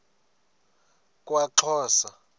kwaxhosa